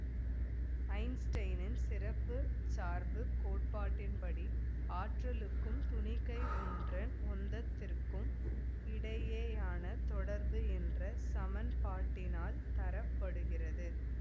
ஐன்ஸ்டைனின் சிறப்பு சார்பு கோட்பாட்டின் படி ஆற்றலுக்கும் துணிக்கை ஒன்றின் உந்தத்திற்கும் இடையேயான தொடர்பு என்ற சமன்பாட்டினால் தர படுகிறது